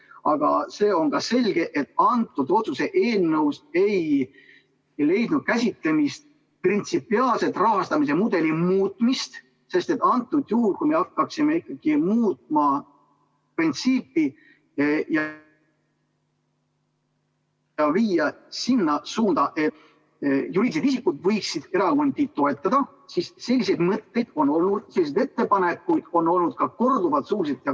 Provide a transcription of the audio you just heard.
Aga see on ka selge, et antud otsuse eelnõus ei leidnud käsitlemist printsipiaalsed rahastamise mudeli muutmised, sest et antud juhul, kui me hakkaksime muutma printsiipi ...... ja viia sinna suunda, et juriidilised isikud võiksid erakondi toetada, siis selliseid mõtteid on olnud, selliseid ettepanekuid on olnud korduvalt.